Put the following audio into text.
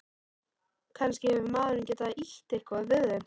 Kannski hefur maðurinn getað ýtt eitthvað við þeim.